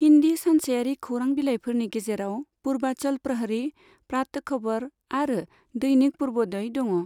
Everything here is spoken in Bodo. हिन्दी सानसेयारि खौरांबिलाइफोरनि गेजेराव पुर्वांचल प्रहरी, प्रातः खबर आरो दैनिक पुर्वोदय दङ।